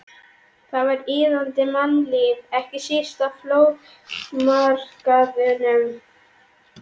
Þar var iðandi mannlíf, ekki síst á flóamarkaðnum.